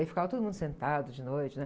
Aí ficava todo mundo sentado de noite, né?